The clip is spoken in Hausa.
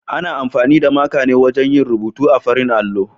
Ana amfani da maka ne wajen yin rubutu a farin allo.